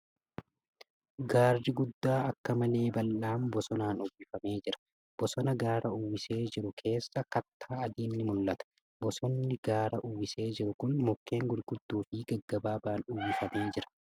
Gaarri gudaa akka malee bal'aan bosonaan uwwifamee jira. Bosona gaara uwwisee jiru keessaa kattaa adiin ni mul'ata . Bosonni gaara uwwisee jiru kun mukkeen gurgudddoo fi gaggabaabaan guutamee jira .